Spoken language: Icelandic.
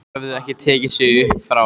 Þeir höfðu ekki tekið sig upp frá